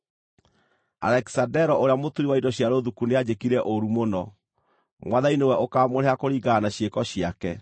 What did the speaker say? Alekisandero ũrĩa mũturi wa indo cia rũthuku nĩanjĩkire ũũru mũno. Mwathani nĩwe ũkaamũrĩha kũringana na ciĩko ciake.